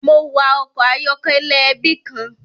Mo wa ọkọ ayọkẹlẹ ẹbi kan.